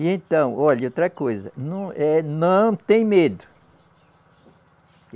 E então, olhe, e outra coisa, não, eh, não tem medo.